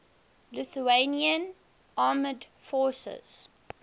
lithuanian armed forces